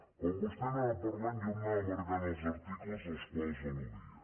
quan vostè anava parlant jo m’anava marcant els articles als quals al·ludia